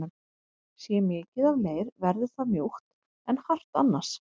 Sé mikið af leir verður það mjúkt en hart annars.